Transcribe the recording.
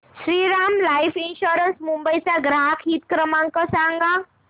Shriram life insurance Mumbai चा ग्राहक हित क्रमांक सांगा